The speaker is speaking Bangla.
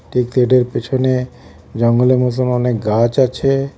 গেটের পেছনে জঙ্গলের মধ্যে অনেক গাছ আছে.